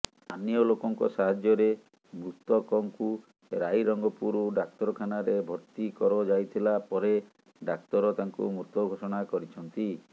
ସ୍ଥାନୀୟ ଲୋକଙ୍କ ସାହାଯ୍ୟରେ ମୃତକଙ୍କୁ ରାଇରଙ୍ଗପୁର ଡାକ୍ତରଖାନାରେ ଭର୍ତ୍ତି କରଯାଇଥିଲା ପରେ ଡାକ୍ତର ତାଙ୍କୁ ମୃତ ଘୋଷଣା କରିଛନ୍ତି